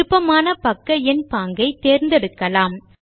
விருப்பமான பக்க எண் பாங்கை தேர்ந்தெடுக்கலாம்